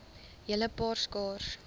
hele paar skaars